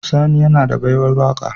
Sani yAna da baiwar waka